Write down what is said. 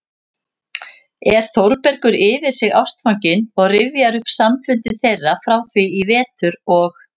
er Þórbergur yfir sig ástfanginn og rifjar upp samfundi þeirra frá því í vetur og